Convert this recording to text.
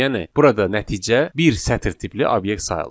Yəni burada nəticə bir sətr tipli obyekt sayılır.